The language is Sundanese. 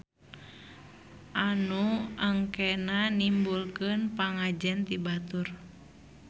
Anu engkenanimbulkeun pangajen ti batur.